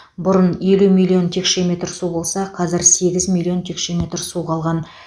бұрын елу миллион текше метр су болса қазір сегіз миллион текше метр су қалған